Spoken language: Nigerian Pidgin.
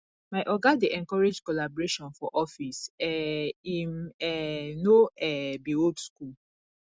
my oga dey encourage collaboration for office um im um no um be old skool